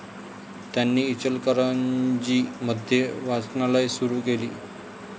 त्यांनी इचलकरंजी मध्ये वाचनालये सुरु केली.